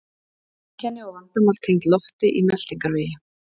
Einkenni og vandamál tengd lofti í meltingarvegi